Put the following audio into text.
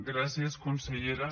gràcies consellera